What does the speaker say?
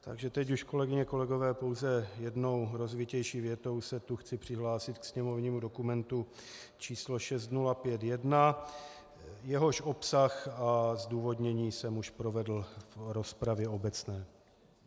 Takže teď už, kolegyně, kolegové, pouze jednou rozvitější větou se tu chci přihlásit ke sněmovnímu dokumentu číslo 6051, jehož obsah a zdůvodnění jsem už provedl v rozpravě obecné.